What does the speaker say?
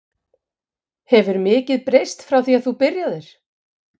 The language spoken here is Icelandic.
Hefur mikið breyst frá því þú byrjaðir?